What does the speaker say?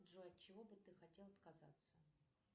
джой от чего бы ты хотел отказаться